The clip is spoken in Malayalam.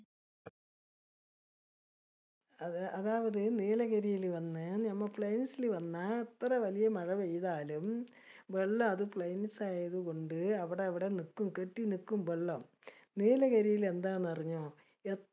അത് അതവര് നീലഗിരീല് വന്ന് നമ്മ plains ഇല് വന്ന അത്ര വല്യ മഴ പെയ്താലും വെള്ളം അത് plains ആയതുകൊണ്ട് അവിടെഅവിടെ നിക്കും. കെട്ടി തനിക്കും വെള്ളം. നീലഗിരീലെന്താ എന്ന് അറിഞ്ഞോ എ